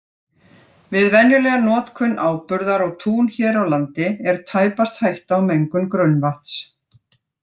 Við venjulega notkun áburðar á tún hér á landi er tæpast hætta á mengun grunnvatns.